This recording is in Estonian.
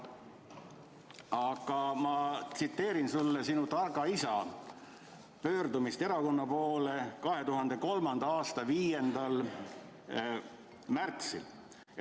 Aga ma tsiteerin sulle sinu targa isa pöördumist erakonna poole 2003. aasta 5. märtsil.